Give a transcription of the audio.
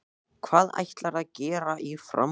Hvað ætlarðu að gera í framhaldinu?